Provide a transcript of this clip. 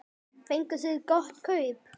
Fenguð þið gott kaup?